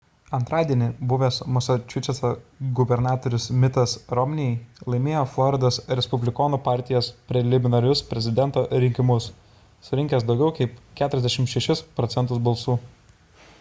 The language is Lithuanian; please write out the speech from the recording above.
antradienį buvęs masačusetso gubernatorius mittas romney'is laimėjo floridos respublikonų partijos preliminarinius prezidento rinkimus surinkęs daugiau kaip 46 proc. balsų